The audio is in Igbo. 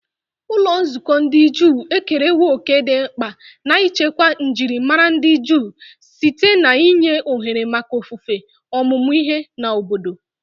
Ụlọ nzukọ ndị Juu ekerewo òkè dị mkpa n'ichekwa njirimara ndị Juu site n'inye ohere maka ofufe, ọmụmụ ihe, na obodo.